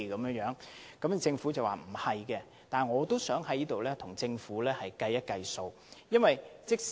雖然政府已作出否認，但我想在這裏跟政府計一計時間。